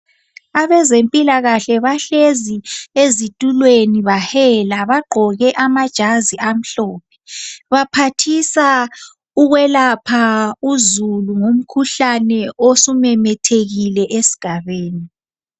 Abezempilakahle bahlezi ezitulweni bahela baqoke amajazi amhlophe, baphathisa ukwelapha uzulu ngumkhuhlane osumemethekile esigabeni.